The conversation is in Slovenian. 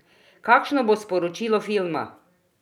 Kakšno bo sporočilo filma?